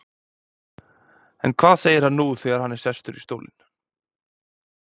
En hvað segir hann nú þegar hann er sestur í stólinn?